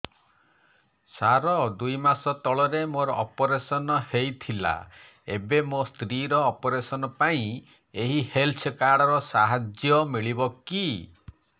ସାର ଦୁଇ ମାସ ତଳରେ ମୋର ଅପେରସନ ହୈ ଥିଲା ଏବେ ମୋ ସ୍ତ୍ରୀ ର ଅପେରସନ ପାଇଁ ଏହି ହେଲ୍ଥ କାର୍ଡ ର ସାହାଯ୍ୟ ମିଳିବ କି